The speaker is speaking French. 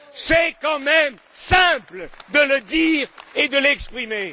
C'est quand même simple de le dire et de l'exprimer.